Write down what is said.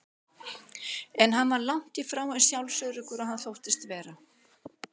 En hann var langt í frá eins sjálfsöruggur og hann þóttist vera.